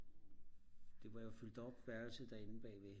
det var jo fyldt op værelset derinde bagved